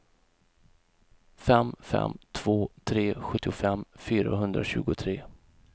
fem fem två tre sjuttiofem fyrahundratjugotre